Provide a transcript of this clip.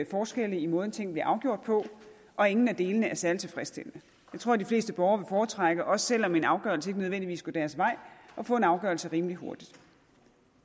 forskelle i måden tingene bliver afgjort på og ingen af delene er særlig tilfredsstillende jeg tror de fleste borgere foretrække også selv om en afgørelse ikke nødvendigvis går deres vej at få en afgørelse rimelig hurtigt